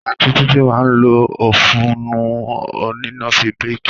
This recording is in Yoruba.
Àtiń Titi mà ń lò òfuńu onina fi béki